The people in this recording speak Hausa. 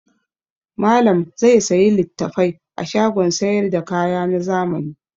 Malam zai sayi littafai a shagon sayar da kaya na zamani.